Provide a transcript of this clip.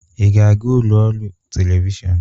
Ị ga-aga ụlọ ọrụ telivishọn?